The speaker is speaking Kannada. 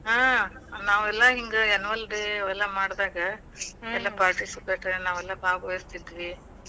ಹಾ. ನಾವೆಲ್ಲಾ ಹಿಂಗ annual day ಎಲ್ಲಾ ಮಾಡದಾಗ ಎಲ್ಲಾ participate ನಾವೆಲ್ಲಾ ಭಾಗವಹಿಸ್ತಿದ್ವಿ.